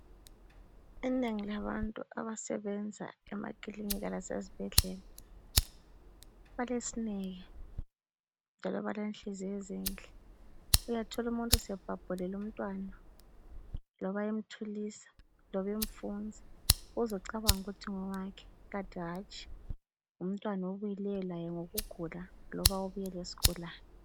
Inengi labantu abasebenza emaklinika lasezibhedlela balesineke njalo balenhliziyo ezinhle, uyathola umuntu sebhabhulile umntwana loba emthulisa, loba emfunza uze ucabange ukuthi ngowakhe kanti hatshi ngumntwana obuyileyo laye ngokugula loba lesigulane.